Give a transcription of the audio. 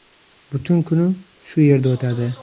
Butun kunim shu yerda o‘tadi.